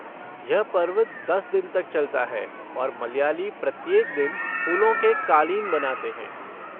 यह पर्व दस दिन तक चलता है और मलयाली प्रत्येक दिन फूलों के क़ालीन बनाते हैं।